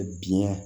Biɲɛ